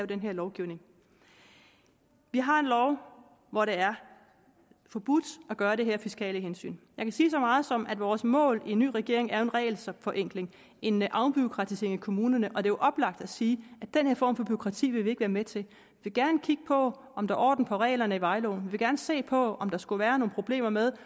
den her lovgivning vi har en lov hvor det er forbudt at gøre det her af fiskale hensyn kan sige så meget som at vores mål i en ny regering er en regelforenkling en afbureaukratisering i kommunerne og det oplagt at sige at den her form for bureaukrati vil vi ikke være med til vi vil gerne kigge på om der er orden på reglerne i vejloven vil gerne se på om der skulle være nogen problemer med